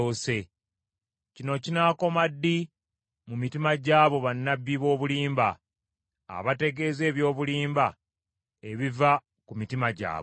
Kino kinaakoma ddi mu mitima gy’abo bannabbi b’obulimba, abategeeza eby’obulimba ebiva ku mitima gyabwe?